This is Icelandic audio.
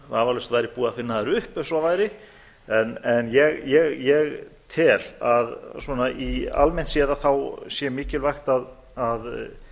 vafalaust væri búi að finna þær upp ef svo væri en ég tel að svona almennt séð sé mikilvægt að